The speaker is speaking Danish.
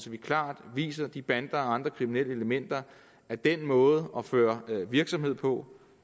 vi klart viser de bander og andre kriminelle elementer at den måde at føre en virksomhed på